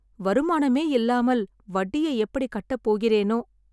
வருமானமே இல்லாமல் வட்டியை எப்படி கட்டப் போகிறேனோ